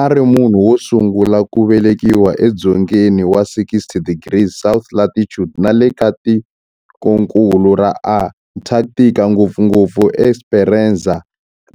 A ri munhu wo sungula ku velekiwa e dzongeni wa 60 degrees south latitude nale ka tikonkulu ra Antarctic, ngopfungopfu eEsperanza